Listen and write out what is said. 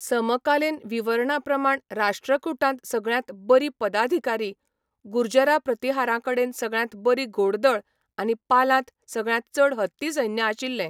समकालीन विवरणाप्रमाण राष्ट्रकूटांत सगळ्यांत बरी पदाधिकारी, गुर्जरा प्रतिहारांकडेन सगळ्यांत बरी घोडदळ आनी पालांत सगळ्यांत चड हत्ती सैन्य आशिल्लें.